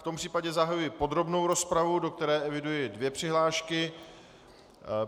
V tom případě zahajuji podrobnou rozpravu, do které eviduji dvě přihlášky.